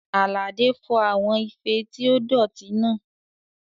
Àlàdé fọ àwọn ife tí ó dọ̀tí náà